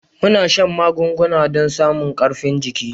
Muna shan magunguna don samun karifin jiki.